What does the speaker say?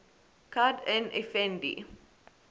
kad n efendi